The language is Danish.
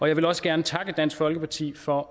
jeg vil også gerne takke dansk folkeparti for